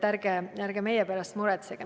Aga ärge meie pärast muretsege.